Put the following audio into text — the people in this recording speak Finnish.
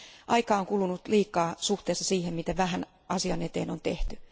Aikaa on kulunut liikaa suhteessa siihen, miten vähän asian eteen on tehty.